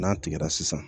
N'a tigɛra sisan